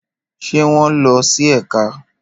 Ṣé wọ́n lọ sí ẹ̀ka?